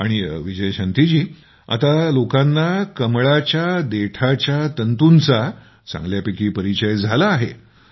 आणि आता लोकांना कमळाच्या खोडापासून बनवल्या जाणाऱ्ये तंतूचा चांगल्यापैकी परिचय झाला आहे